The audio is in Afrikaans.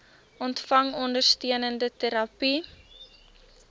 ontvang ondersteunende terapie